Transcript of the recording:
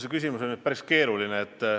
See küsimus on päris keeruline.